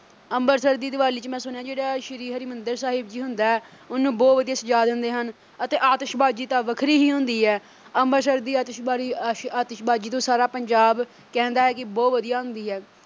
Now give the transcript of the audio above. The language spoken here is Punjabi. ਅੰਮ੍ਰਿਤਸਰ ਦੀ ਦੀਵਾਲੀ ਚ ਮੈਂ ਸੁਣਿਆ ਜਿਹੜਾ ਸ਼੍ਰੀ ਹਰਿਮੰਦਿਰ ਸਾਹਿਬ ਜੀ ਹੁੰਦੈ ਉਹਨੂੰ ਬਹੁਤ ਵਧੀਆ ਸਜਾ ਦਿੰਦੇ ਹਨ ਅਤੇ ਆਤਿਸ਼ਬਾਜ਼ੀ ਤਾਂ ਵੱਖਰੀ ਹੀ ਹੁੰਦੀ ਹੈ ਅੰਮ੍ਰਿਤਸਰ ਦੀ ਆਤਿਸ਼ਬਾਜ਼ੀ ਆਸ਼ੀ ਅਹ ਆਤਿਸ਼ਬਾਜ਼ੀ ਤੋਂ ਸਾਰਾ ਪੰਜਾਬ ਕਹਿੰਦਾ ਹੈ ਕਿ ਬਹੁਤ ਵਧੀਆ ਹੁੰਦੀ ਹੈ।